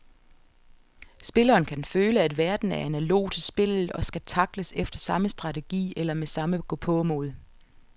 Spilleren kan føle, at verden er analog til spillet og skal tackles efter samme strategi eller med samme gåpåmod.